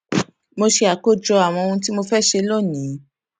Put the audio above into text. mo ṣe àkójọ àwọn ohun tí mo fé ṣe lónìí